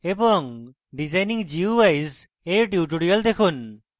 designing guis এর টিউটোরিয়ালও দেখুন